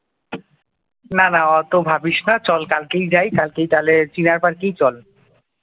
না না অত ভাবিস না চল কালকেই যাই কালকেই তাহলে চিনার পার্কেই চল ।